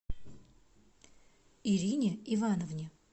ирине ивановне